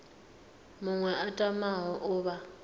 muṅwe a tamaho u vha